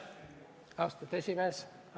Austatud esimees!